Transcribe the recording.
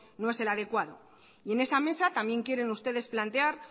no es el adecuado y en esa mesa también quieren ustedes plantear